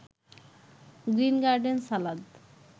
green garden salad